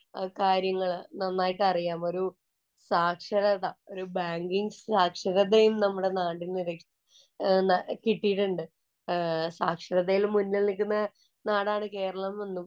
കാര്യങ്ങള്‍ നന്നായിട്ട് അറിയാം. ഒരു സാക്ഷരത, ഒരു ബാങ്കിങ്ങ് സാക്ഷരതയും നമ്മുടെ നാടിനു കിട്ടിയിട്ടുണ്ട്. സാക്ഷരതയില്‍ മുന്നില്‍ നില്‍ക്കുന്ന നാടാണ് കേരളമെന്നും